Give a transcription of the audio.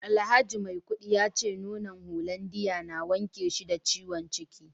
alhaji maikudi yace nonon hollandia na wanke shi da ciwon ciki